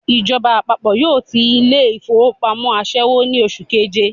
Ìjọba àpapọ̀ yóò ti ilé ìfowópamọ́ àṣẹ́wó ní oṣù keje